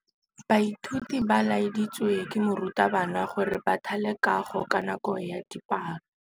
Baithuti ba laeditswe ke morutabana gore ba thale kagô ka nako ya dipalô.